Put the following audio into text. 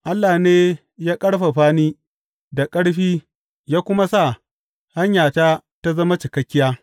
Allah ne ya ƙarfafa ni da ƙarfi ya kuma sa hanyarta ta zama cikakkiya.